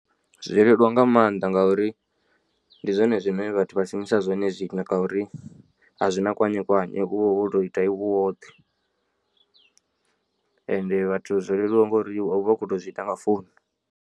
Zwo leluwa nga maanḓa ngauri ndi zwone zwine vhathu vha shumisa zwone zwino ngauri a zwina kwanyekwanye uvha woto ita iwe u woṱhe ende vhathu zwo leluwa ngori u vha u khou tou zwiita nga founu.